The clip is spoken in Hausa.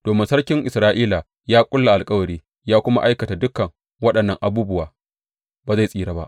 Domin sarkin Isra’ila ya ƙulla alkawari ya kuma aikata dukan waɗannan abubuwa, ba zai tsira ba.